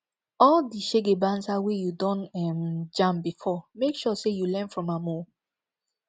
all di shege banza wey yu don um jam bifor mek sure sey yu learn from am o